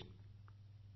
Modi ji Dr